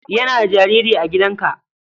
Yana da jariri a gidanka?